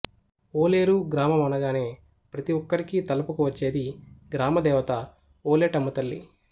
ఓలేరు గ్రామమనగానే ప్రతి ఒక్కరికీ తలపుకు వచ్చేది గ్రామదేవత ఓలేటమ్మ తల్లి